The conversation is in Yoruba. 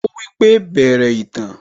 Ó wípé 'Bẹ̀rẹ̀ ìtàn'